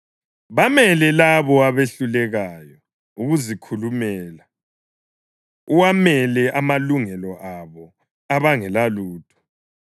Bamele labo abehlulekayo ukuzikhulumela, uwamele amalungelo alabo abangelalutho.